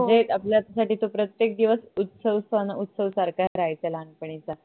म्हणजे आपल्यासाठी तो प्रत्येक दिवस उत्सव सन उत्सव सारखा राहायचा लहानपणीचा